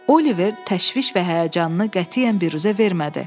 Oliver təşviş və həyəcanını qətiyyən biruzə vermədi.